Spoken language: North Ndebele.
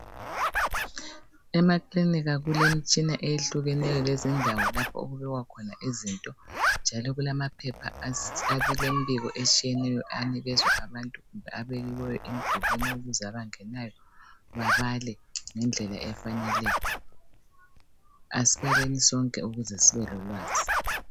Emakilinika kulemitshina eyehlukeneyo lezindawo lapho okubukwa khona izinto njalo kulamaphepha alembiko etshiyeneyo anikezwa abantu kumbe abekiweyo emdulwini ukuze abangenayo babale ngendlela efaneleyo. Asibaleni sonke ukuze sibelolwazi.